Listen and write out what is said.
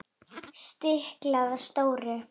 Stiklað á stóru